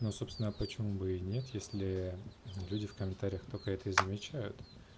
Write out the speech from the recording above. но собственно почему бы и нет если люди в комментариях только это и замечают